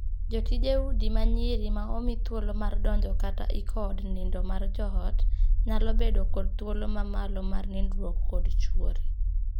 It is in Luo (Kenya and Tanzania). Jotije udi ma nyiri ma omii thuolo mar donjo kata iko od nindo mar joot nyalo bedo kod thuolo ma malo mar nindruok kod chuori.